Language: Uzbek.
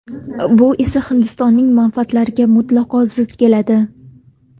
Bu esa Hindistonning manfaatlariga mutlaqo zid keladi.